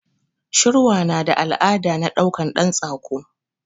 Shirwa nada al'ada na ɗaukan ɗan tsako